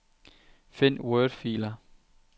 Find wordfiler.